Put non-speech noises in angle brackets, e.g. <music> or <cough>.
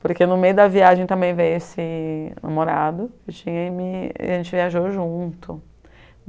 Porque no meio da viagem também veio esse namorado <unintelligible> e a gente viajou junto.